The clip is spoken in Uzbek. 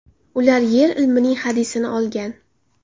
Ular yer ilmining hadisini olgan.